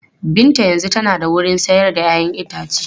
Binta yanzu tana da wurin sayar da 'ya'yan itace.